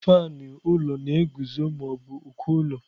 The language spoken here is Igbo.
Faanụ ụlọ na-eguzo ma ọ bụ uko ụlọ.